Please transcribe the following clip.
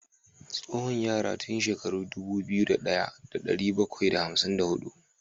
Tsoho ya rayu tun shekara dubu daya da dari bakwai da hamsin da hudu